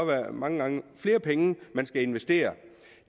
være mange flere penge den skal investere